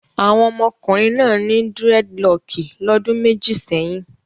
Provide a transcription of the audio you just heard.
Àwọn ọmọkùnrin náà ní dírẹ́dilọọkì lọ́dún méjì sẹ́yìn.